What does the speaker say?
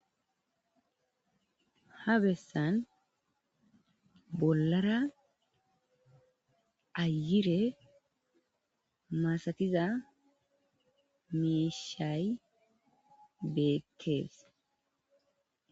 Ha besan bolara ayire masatiza mishayi betees